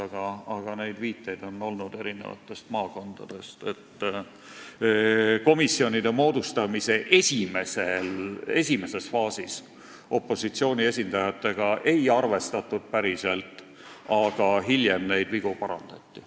Eri maakondadest on tulnud viiteid, et komisjonide moodustamise esimeses faasis opositsiooni esindajatega päriselt ei arvestatud, aga hiljem neid vigu parandati.